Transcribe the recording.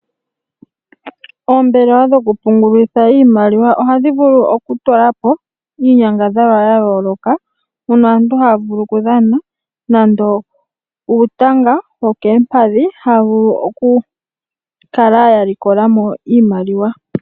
Oombelewa dhokupungulitha iimaliwa ohadhi vulu okutulapo iinyangadhalwa yayooloka mpono aantu haya vulu okudhana nando uutanga wokeempadhi, haya vulu okukala ya likolamo iimaliwa.